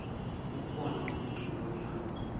kukhona umculo we house